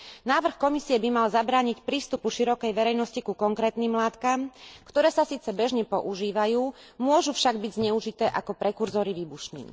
Návrh Komisie by mal zabrániť prístupu širokej verejnosti ku konkrétnym látkam, ktoré sa síce bežne používajú, môžu však byť zneužité ako prekurzory výbušnín.